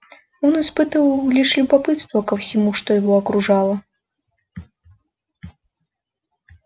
он испытывал лишь любопытство ко всему что его окружало